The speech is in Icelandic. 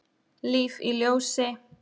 Líf í ljósi.